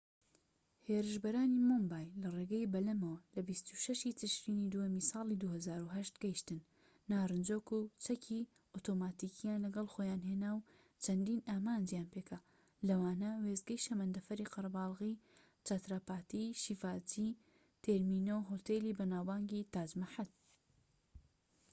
هێرشبەرانی مۆمبای لە ڕێگەی بەلەمەوە لە 26ی تشرینی دووەمی ساڵی 2008 گەیشتن، نارنجۆک و چەکی ئۆتۆماتیکیان لەگەڵ خۆیان هێنا و چەندین ئامانجیان پێکا لەوانە وێستگەی شەمەندەفەری قەرەبالغی چاتراپاتی شیڤاجی تێرمینۆو هۆتێلی بەناوبانگی تاج مەحەل‎